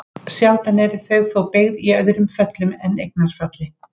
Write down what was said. Sjaldan eru þau þó beygð í öðrum föllum en eignarfalli.